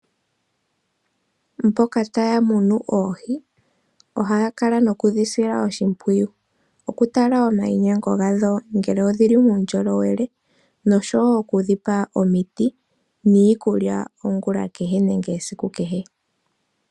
Mboka taya munu oohi, ohaya kala noku dhi sila oshimpwiyu oku tala omayinyengo gadho ngele odhili muundjolowele, nosho wo oku dhipa omiti niikulya, ongulonene, kehe nenge esiku kehe.